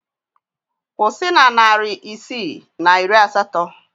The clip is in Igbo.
Kwụsị na narị isii na iri asatọ!